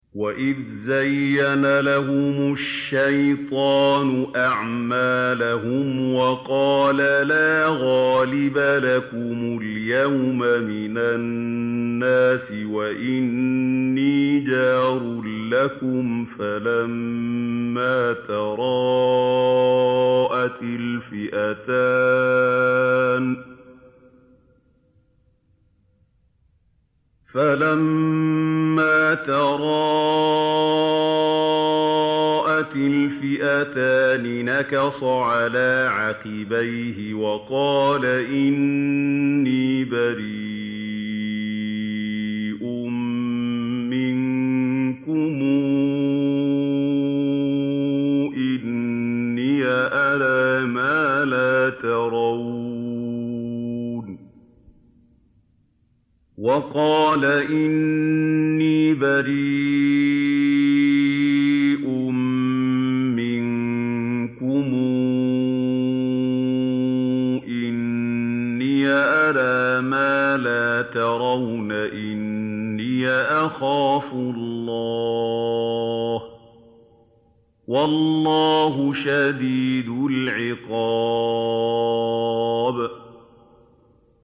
وَإِذْ زَيَّنَ لَهُمُ الشَّيْطَانُ أَعْمَالَهُمْ وَقَالَ لَا غَالِبَ لَكُمُ الْيَوْمَ مِنَ النَّاسِ وَإِنِّي جَارٌ لَّكُمْ ۖ فَلَمَّا تَرَاءَتِ الْفِئَتَانِ نَكَصَ عَلَىٰ عَقِبَيْهِ وَقَالَ إِنِّي بَرِيءٌ مِّنكُمْ إِنِّي أَرَىٰ مَا لَا تَرَوْنَ إِنِّي أَخَافُ اللَّهَ ۚ وَاللَّهُ شَدِيدُ الْعِقَابِ